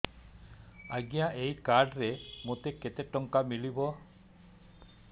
ଆଜ୍ଞା ଏଇ କାର୍ଡ ରେ ମୋତେ କେତେ ଟଙ୍କା ମିଳିବ